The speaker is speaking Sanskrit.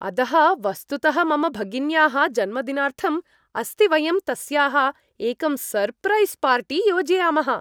अदः वस्तुतः मम भगिन्याः जन्मदिनार्थम् अस्ति वयं तस्याः एकं सर्प्रैस् पार्टी योजयामः।